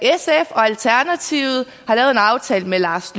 alternativet har lavet en aftale med lars